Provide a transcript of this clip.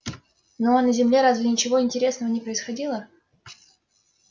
ну а на земле разве ничего интересного не происходило